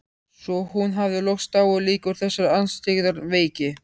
Svo hún hafði loks dáið líka úr þessari andstyggðar veiki.